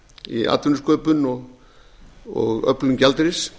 í atvinnusköpun og öflun gjaldeyris